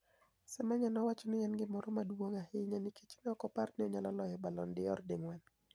Semeniya nowacho ni eni gimoro maduonig ahiya niikech ni eoko opar ni oniyalo loyo Balloni d'or dinig'weni.